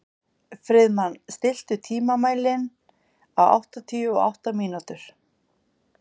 Friðmann, stilltu tímamælinn á áttatíu og átta mínútur.